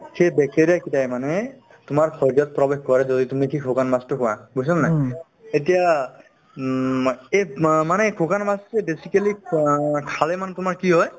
সেই bacteria কেইটাই মানে তোমাৰ শৰীৰত প্ৰৱেশ কৰে যদি কি তুমি শুকান মাছতো খোৱা বুজিছানে নাই এতিয়া উম মই এব মানে এই শুকান মাছতোয়ে basically খালে মানে তোমাৰ কি হয়